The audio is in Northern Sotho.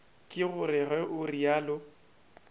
ke gore ge o realo